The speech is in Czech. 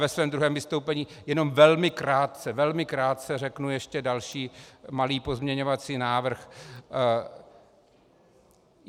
Ve svém druhém vystoupení jenom velmi krátce, velmi krátce řeknu ještě další malý pozměňovací návrh.